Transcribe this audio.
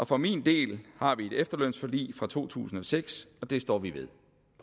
for min del har vi et efterlønsforlig fra to tusind og seks og det står vi ved